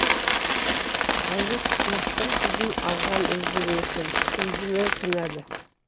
әлде құлақтың қызын алған өзі ме екен өзі ма кінәлі